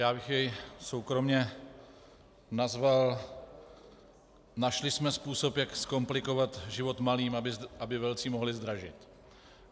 Já bych jej soukromě nazval - našli jsme způsob, jak zkomplikovat život malým, aby velcí mohli zdražit.